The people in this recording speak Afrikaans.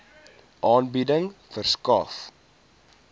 aanbieding verskaf